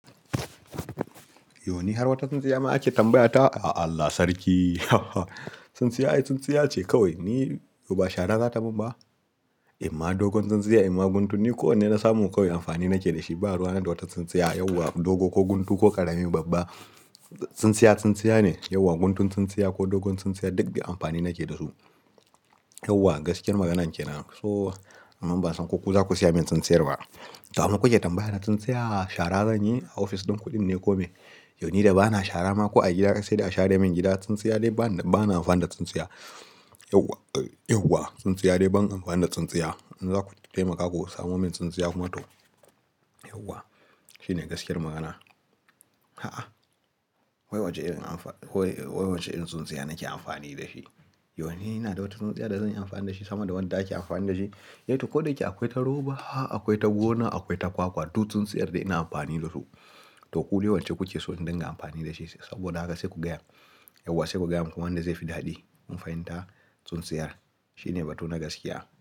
Yau ni har wata tsintsiya ma ake tambayata. A Allah sarki tsintsiya ai tsintsiya ce kawai. Ni uba shara za ta min ba? In ma dogon tsintsiya, in ma guntu ni ko wanne na samu kawai amfani nake da shi. Ba ruwa ne da wata tsintsiya. Yauwa dogo ko guntu ko karami babba, tsintsiya tsintsiya ne. Yauwa guntun tsintsiya ko dogon tsintsiya duk dai amfani nake da su. Yauwa gaskiyar magana kenan. So, amma ban san ko ku za ku siya min tsintsiyar ba. To, amma ku ke tambaya na tsintsiya shara zan yi a ofis ɗin ku, dinne kome. Yau ni da ba na shara ma ko a gida sai da a share min gida. Tsintsiya dai ba na, ba na amfana da tsintsiya. Yauwa, eh, yauwa tsintsiya dai ban amfana da tsintsiya. In za ku taimaka ku samo min tsintsiya kuma to. Yauwa shine gaskiyar magana. A'a, wai wace irin amfa-- wai wace irin tsintsiya nake amfani da shi? Yau ni na da wata tsintsiya da zan yi amfani da shi sama da wadda ake amfani da shi. Eh to ko da yake akwai ta roba, akwai ta gona, akwai ta kwakwa duk tsintsiyar dai ina amfani da su. To ku dai wacce kuke so ni dinga amfani da shi saboda haka sai ku gaya. Yauwa sai ku gaya mun kuma wanda zai fi daɗi kun fahimta tsintsiya. Shi ne batun na gaskiya.